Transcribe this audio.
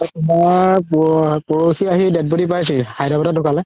তুমাৰ পৰসি আহি dead body পাইছেহি হায়দৰাবাদত ধুকালে